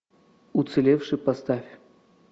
уцелевшие поставь